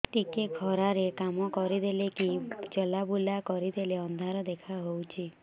ଟିକେ ଖରା ରେ କାମ କରିଦେଲେ କି ଚଲବୁଲା କରିଦେଲେ ଅନ୍ଧାର ଦେଖା ହଉଚି